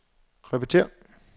repetér